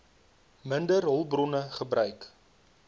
minder hulpbronne gebruik